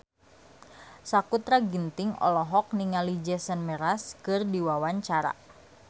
Sakutra Ginting olohok ningali Jason Mraz keur diwawancara